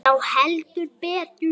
Já, heldur betur.